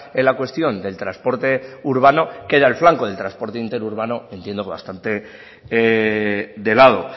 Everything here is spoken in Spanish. en la cuestión del transporte urbano queda el flanco del transporte interurbano entiendo que bastante de lado